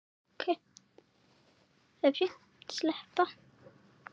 En hvort bætti annað upp.